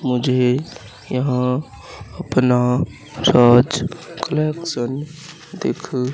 मुझे यहां अपना कलेक्शन दिख--